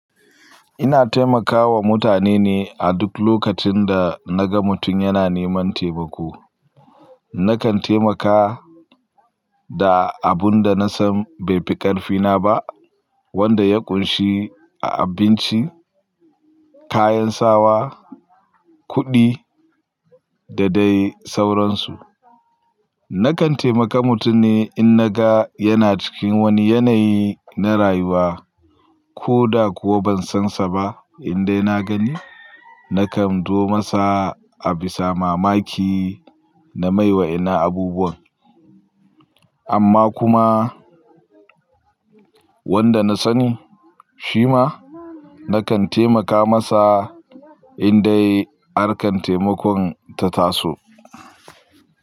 Ina taimakawa mutane ne a duk lokacin da naga mutum yana neman taimako. Nakan taimaka da abun da nasan bai fi ƙarfi na ba wanda ya ƙunshi abinci, kayan sawa, kuɗi da dai sauransu. Nakan taimaka mutum ne in naga yana cikin wani yanayi na rayuwa ko da kuwa ban san sa ba. Indai na gani nakan zo masa a bisa mamaki na mai wa innan abubuwan amma kuma wanda na sani shi ma nakan taimaka masa indai harkar taimakon ta taso.